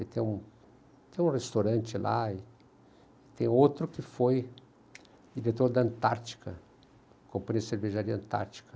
Ele tem tem um restaurante lá e e tem outro que foi diretor da Antártica, companhia de cervejaria Antártica.